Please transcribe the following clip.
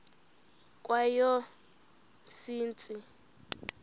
kweyomsintsi